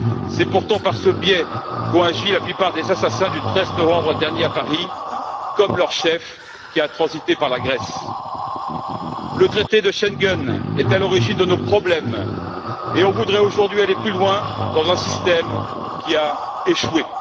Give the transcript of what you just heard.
C'est pourtant par ce biais qu'ont agi la plupart des assassins du 13 novembre dernier à Paris, comme leur chef, qui a transité par la Grèce. Le traité de Schengen est à l'origine de nos problèmes, et on voudrait aujourd'hui aller plus loin dans un système qui a échoué.